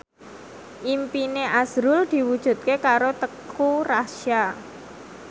impine azrul diwujudke karo Teuku Rassya